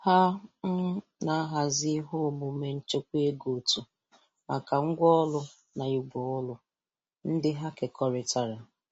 Ha um na-ahazi ihe omume nchekwa ego otu maka ngwa orụ na igwe ọrụ ndị ha kekọritara.